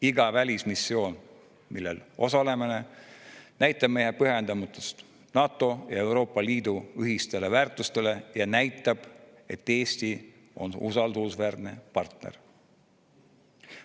Iga välismissioon, millel osaleme, näitab meie pühendumust NATO ja Euroopa Liidu ühistele väärtustele ja näitab, et Eesti on usaldusväärne partner.